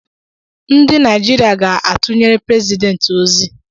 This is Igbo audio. Ndị Nigeria ga-atụnyere President ozi